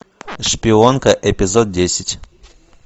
шпионка эпизод десять